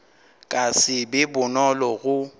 ka se be bonolo go